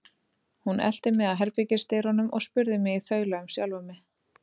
Hún elti mig að herbergisdyrunum og spurði mig í þaula um sjálfa mig.